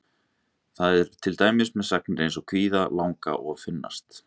Þannig er til dæmis með sagnir eins og kvíða, langa og finnast.